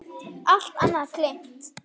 Allt annað gleymt.